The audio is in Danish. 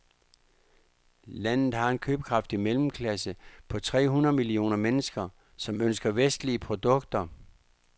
Landet har en købekraftig mellemklasse på tre hundrede millioner mennesker, som ønsker vestlige produkter.